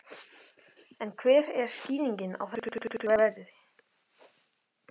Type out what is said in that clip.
En hver er skýringin á þessari miklu veiði?